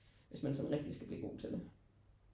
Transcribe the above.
Hvis man sådan rigtig skal blive god til det